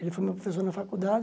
Ele foi meu professor na faculdade.